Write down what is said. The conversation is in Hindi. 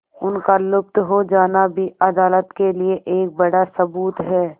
उनका लुप्त हो जाना भी अदालत के लिए एक बड़ा सबूत है